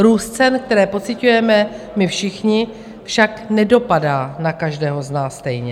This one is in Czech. Růst cen, které pociťujeme my všichni, však nedopadá na každého z nás stejně.